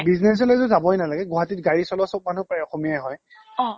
business লৈ টো যাবই নালাগে গুৱাহাটীত গাড়ী চলোৱা চব মানুহ প্ৰায় অসমীয়াই হয়